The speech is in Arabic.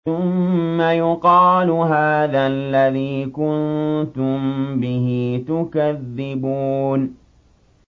ثُمَّ يُقَالُ هَٰذَا الَّذِي كُنتُم بِهِ تُكَذِّبُونَ